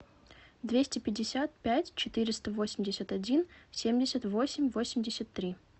двести пятьдесят пять четыреста восемьдесят один семьдесят восемь восемьдесят три